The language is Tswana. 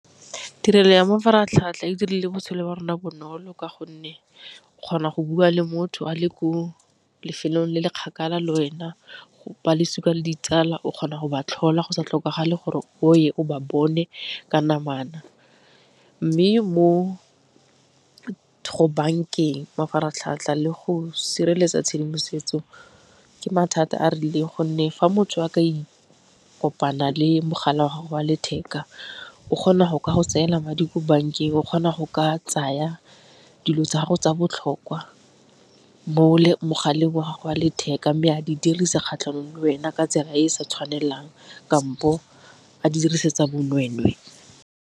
Tirelo ya mafaratlhatlha e dirile botshelo wa rona bonolo ka gonne o kgona go bua le motho a le ko lefelong le le kgakala le wena, balosika le ditsala o kgona go ba tlhola go sa tlhokagala gore o ye o ba bone ka namana. Mme mo go bankeng mafaratlhatlha le go sireletsa tshedimosetso ke mathata a rileng gonne fa motho a ka kopana le mogala wa gago wa letheka o kgona go ka go tseela madi ko bankeng, o kgona go ka tsaya dilo tsa gago tsa botlhokwa mo mogaleng wa gago wa letheka, mme a di dirisa kgatlhanong le wena ka tsela e e sa tshwanelang kampo a di dirisetsa bonweenwee.